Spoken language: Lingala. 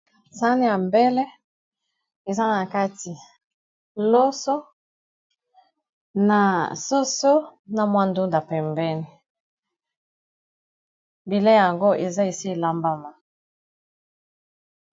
Sane ya mbele eza na kati loso na soso na mwa ndunda pembeni bileyi yango eza esi elambama